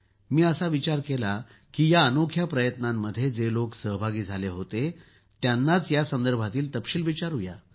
मी असा विचार केला की या अनोख्या प्रयत्नांमध्ये जे लोक सहभागी झाले होते त्यांनाच यासंदर्भातील तपशील विचारुया